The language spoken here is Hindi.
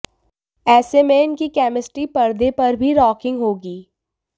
ऐसे में इनकी केमिस्ट्री परदे पर भी रॉकिंग होगी